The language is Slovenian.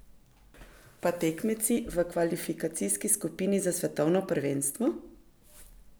Pa tekmeci v kvalifikacijski skupini za svetovno prvenstvo?